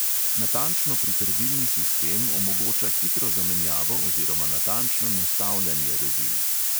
Natančno pritrdilni sistem omogoča hitro zamenjavo oziroma natančno nastavljanje rezil.